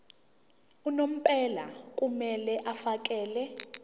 unomphela kumele afakele